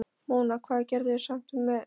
Mona, hvað geturðu sagt mér um veðrið?